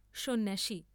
স।